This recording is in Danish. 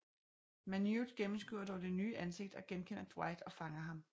Manute gennemskuer dog det nye ansigt og genkender Dwight og fanger ham